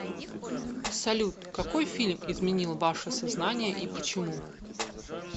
салют какой фильм изменил ваше сознание и почему